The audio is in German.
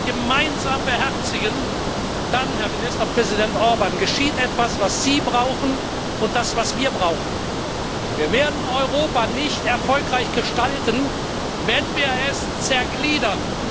gemeinsam beherzigen, dann, Herr Ministerpräsident Orbán, geschieht etwas, was Sie brauchen und was wir brauchen Wir werden Europa nicht erfolgreich gestalten, wenn wir es zergliedern.